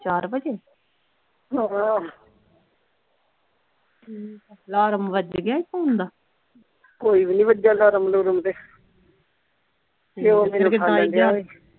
ਚਾਰ ਵਜੇ ਹਾਂ ਹਮ alarm ਵੱਜ ਗਿਆ ਸੀ ਫ਼ੋਨ ਦਾ ਕੋਈ ਵੀ ਨਹੀਂ ਵੱਜਿਆ alarm ਅਲੂਰਮ ਤੇ ਓਹ ਮੈਨੂ ਉਠਾਈ ਜਾਵੇ